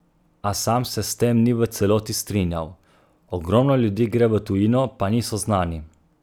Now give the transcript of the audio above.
A sam se s tem ni v celoti strinjal: "Ogromno ljudi gre v tujino, pa niso znani.